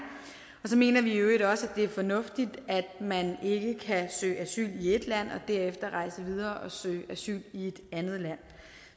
så mener vi i øvrigt også at det er fornuftigt at man ikke kan søge asyl i ét land og derefter rejse videre og søge asyl i et andet land